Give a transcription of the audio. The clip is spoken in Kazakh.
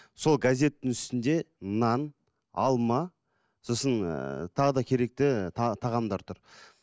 сол газеттің үстінде нан алма сосын ыыы тағы да керекті тағамдар тұр